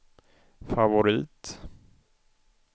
favorit